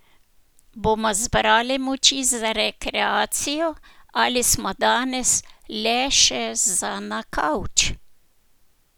Bomo zbrali moči za rekreacijo ali smo danes le še za na kavč?